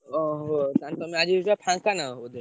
ଓହୋ! ତାହେଲେ ତମେ ଆଜି ଫାଙ୍କା ନାହଁ ବୋଧେ?